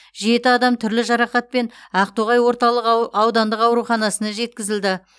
жеті адам түрлі жарақатпен ақтоғай орталық ау аудандық ауруханасына жеткізілді